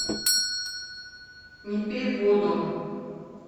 не пей воду